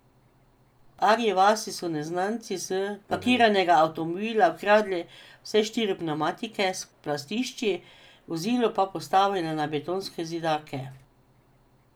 V Arji vasi so neznanci s parkiranega avtomobila ukradli vse štiri pnevmatike s platišči, vozilo pa postavili na betonske zidake.